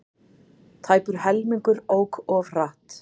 Tæpur helmingur ók of hratt